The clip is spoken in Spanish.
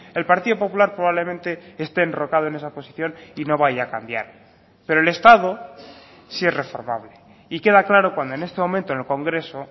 el partido popular probablemente esté enrocado en esa posición y no vaya a cambiar pero el estado sí es reformable y queda claro cuando en este momento en el congreso